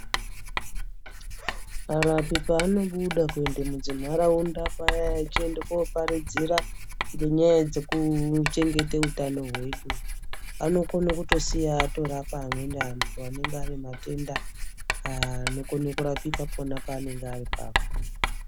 Arapi paanobuda kuende mudzinharaunda paya eyiende koparidzira ngenyaya dzekuchengete utano hwedu, anokono kutosiye atorapa amweni antu anenge ane matenda anokone kurapika pona paanenge ari ipapo.